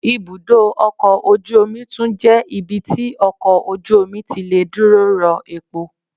Ibúdó ọkọ̀ ojú omi tún jẹ́ ibi tí ọkọ̀ ojú omi tí lè dúró rọ́ epo